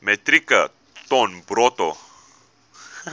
metrieke ton bruto